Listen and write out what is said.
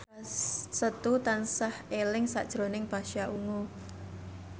Setu tansah eling sakjroning Pasha Ungu